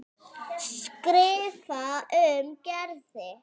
skrifar hún Gerði.